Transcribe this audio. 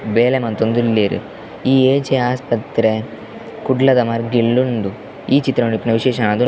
ಬೆಳೆ ಮಂತೊಂದುಲ್ಲೆರ್ ಈ ಏ ಜೆ ಆಸ್ಪತ್ರೆ ಕುಡ್ಲದ ಮರ್ಗಿಲ್ಡ್ ಉಂಡು ಈ ಚಿತ್ರಡ್ ಇಪ್ಪುನ ವಿಶೇಷ --